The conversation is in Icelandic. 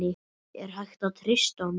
Er hægt að treysta honum?